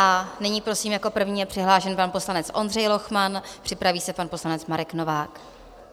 A nyní prosím, jako první je přihlášen pan poslanec Ondřej Lochman, připraví se pan poslanec Marek Novák.